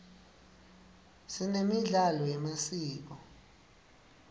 sinemidlalo yemasiko